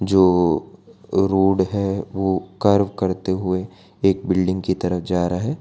जो रोड है वो कर्व करते हुए एक बिल्डिंग की तरफ जा रहा है।